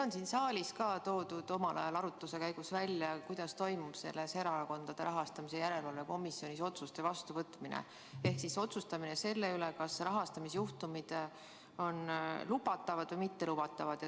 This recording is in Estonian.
Omal ajal on siin saalis arutluse käigus välja toodud, kuidas toimub Erakondade Rahastamise Järelevalve Komisjonis otsuste vastuvõtmine ehk siis otsustamine selle üle, kas rahastamisjuhtumid on lubatavad või mittelubatavad.